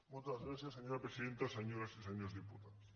moltes gràcies senyora presidenta senyores i senyors diputats